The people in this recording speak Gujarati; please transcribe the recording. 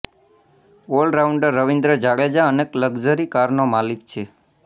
ઓલ રાઉન્ડર રવિન્દ્ર જાડેજા અનેક લકઝરી કારનો માલીક છે